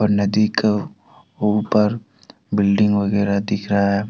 और नदी के वो पार बिल्डिंग वगैरह दिख रहा है।